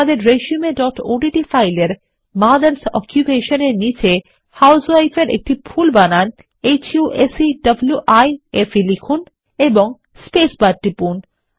আমাদের resumeওডিটি ফাইলের মথার্স অকুপেশন এর নিচে আপনি হাউসউইফ এর একটি ভুল বানান হুসেভাইফ লিখুন এবং স্পেস বার টিপুন